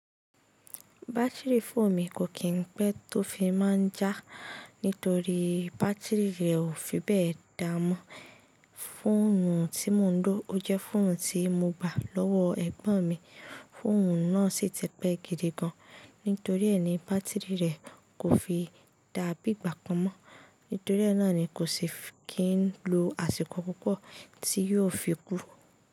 Batiri fóònù mi kò kín pé tó fi má a ń já, nítorí batiri rẹ̀ ò fi bẹ́ẹ̀ dáa mọ́. Fóònù tí mò ń lò o jẹ́ fóònù tí mo gbà lọ́wọ́ ẹ̀gbọ́n mi. Fóònù náà sì ti pé gidi gan, nítorí è ní batiri rẹ̀ kò fi dá bí i gbà kan mọ́. Nítorí e náà ni kò sì kí ń lo àsìkò púpọ̀ tí yóò fi kú.